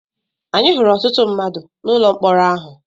Anyị hụrụ ọtụtụ mmadụ n’ụlọ mkpọrọ ahụ.